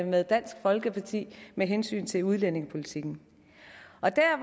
med dansk folkeparti i med hensyn til udlændingepolitikken